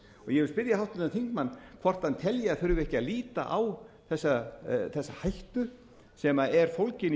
ég vil spyrja háttvirtan þingmann hvort hann telji að þurfi ekki að líta á þessa hættu sem er fólgin í